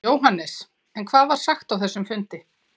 Jóhannes: En hvað var sagt á þessum fundi?